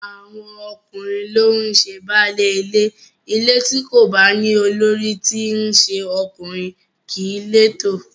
Àwọn ọkùnrin ló ń ṣe baálé ilé, ilé tí kò bá ní olórí tí í ṣe ọkùnrin kìí létò